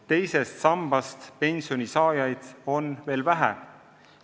Teisest sambast pensioni saajaid on veel vähe.